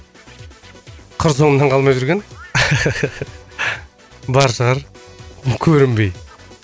қыр соңымнан қалмай жүрген бар шығар көрінбей